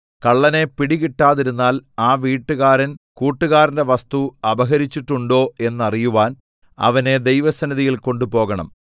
കള്ളനെ പിടികിട്ടാതിരുന്നാൽ ആ വീട്ടുകാരൻ കൂട്ടുകാരന്റെ വസ്തു അപഹരിച്ചിട്ടുണ്ടോ എന്ന് അറിയുവാൻ അവനെ ദൈവസന്നിധിയിൽ കൊണ്ടുപോകണം